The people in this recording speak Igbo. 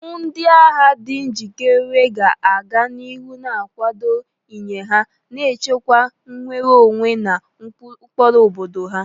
Ndị agha di njikere ga-aga n'ihu na-akwado iyi ha, na-echekwa nnwere onwe na ụkpụrụ obodo ha.